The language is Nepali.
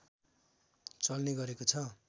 चल्ने गरेको छ